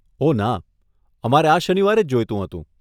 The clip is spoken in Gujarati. ઓહ ના, અમારે આ શનિવારે જ જોઈતું હતું.